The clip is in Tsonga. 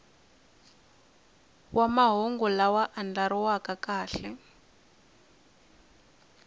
wa mahungu lama andlariweke kahle